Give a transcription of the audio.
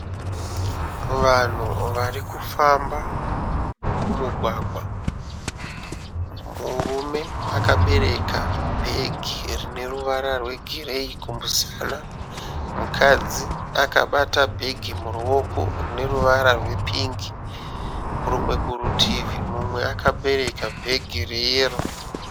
Vanhu varikufamba mumugwagwa . Murume akabereka bhegi rine ruvara rwegireyi kumusana. Mukadzi akabata bhegi muruoko rine ruvara rwepingi . Kurumwe kurutivi mumwe akabereka bhegi reyero.